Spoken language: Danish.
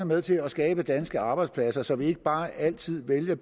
med til at skabe danske arbejdspladser så vi ikke bare altid vælger